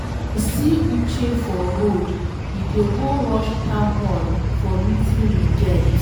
I see Uche for road, he dey go rush town hall for meeting we get.